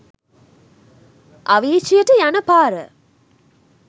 අවීචියට යන පාර